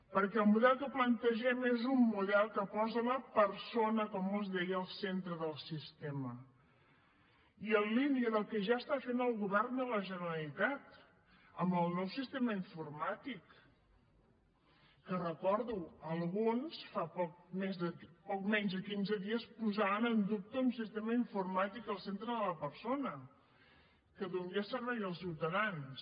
perquè el model que plantegem és un model que posa la persona com els deia al centre del sistema i en línia del que ja està fent el govern de la generalitat amb el nou sistema informàtic que ho recordo alguns fa poc menys de quinze dies posaven en dubte un sistema informàtic al centre de la persona que donés serveis als ciutadans